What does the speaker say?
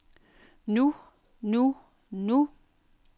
nu nu nu